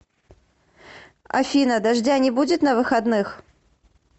афина дождя не будет на выходных